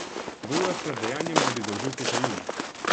V urah pred dejanjem naj bi zaužil kokain.